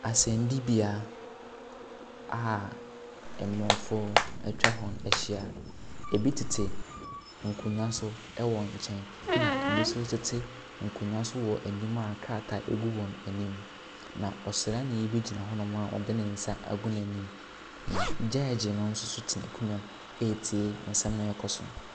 Asɛnnibea a ammuafoɔ atwa ho ahyia. Ɛbi tete nkonnwa so ɛwɔ nkyɛn, ɛna ɛbi nso tete nkonnwa so ɛwɔ anim a nkrataa bi agu wɔn anim. Na ɔsraani bi gyina hɔnom a ɔde ne nsa agu n’anim. Na gyɛɛgye no nso te n’akonnwa mu a ɔretie deɛ ɛrekɔ so no.